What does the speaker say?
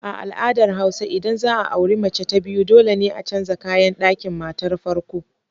A al'adar hausa idan za a auri mace ta biyu dole ne a canza kayan ɗakin matar farko.